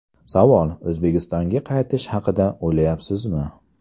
Savol: O‘zbekistonga qaytish haqida o‘ylayapsizmi?